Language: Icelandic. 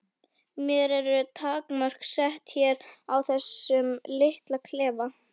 Mér eru takmörk sett hér í þessum litla klefa.